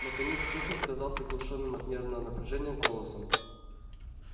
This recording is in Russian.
наконец техник сказал приглушённым от нервного напряжения голосом